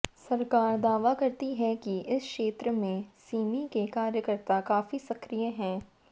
सरकार दावा करती है कि इस क्षेत्र में सिमी के कार्यक्रता काफ़ी सक्रिय हैं